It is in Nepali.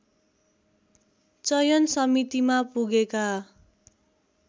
चयन समितिमा पुगेका